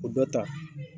O dɔ ta